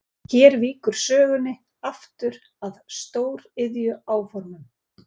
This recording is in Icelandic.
Hér víkur sögunni aftur að stóriðjuáformum.